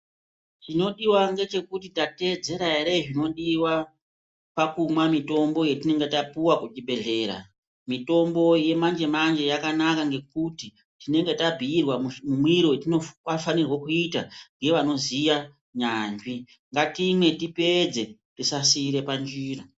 Chinodiwa ngechekuti tateedzera ere zvinodiwa pakumwa mutombo yatinenge tapuwa kuzvibhehleya mutombo yemanje manje yakanaķa ngekuti tabhiirwa mumwire watinofanira kuita ngevanoziya nyanzvi ngatimwe tipedze tisasiira panzira.